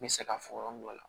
N bɛ se ka fɔ yɔrɔ min na